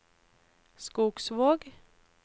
Skogsvåg